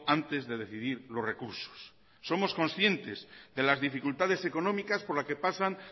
antes de decidir los recursos somos concientes de las dificultades económicas por las que pasan